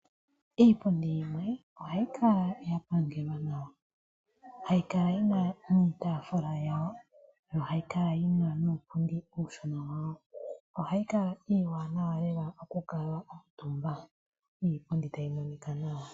Iipundi yimwe ohayi kala ya pangelwa nawa. Hayi kala yina niitafula yawo, nohayi kala yina nuupundi uushona wawo. Ohayi kala iiwanawa lela oku kala omutumba. Iipundi tayi monika nawa.